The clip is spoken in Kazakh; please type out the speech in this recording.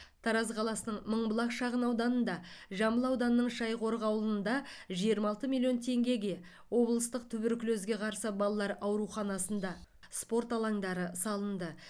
тараз қаласының мыңбұлақ шағын ауданында жамбыл ауданының шайқорық ауылында жиырма алты миллион теңгеге облыстық туберкулезге қарсы балалар ауруханасында спорт алаңдары салынды